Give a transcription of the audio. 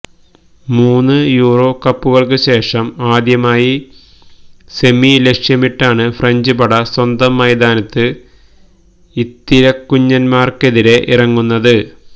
മൂന്ന് യൂറോ കപ്പുകൾക്കുശേഷം ആദ്യമായി സെമി ലക്ഷ്യമിട്ടാണ് ഫ്രഞ്ച് പട സ്വന്തം മൈതാനത്ത് ഇത്തിരക്കുഞ്ഞന്മാർക്കെതിരെ ഇറങ്ങുന്നത്